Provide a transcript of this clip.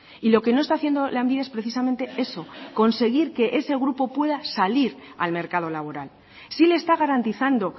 y lo que no está haciendo lanbide es precisamente eso conseguir que ese grupo pueda salir al mercado laboral sí le está garantizando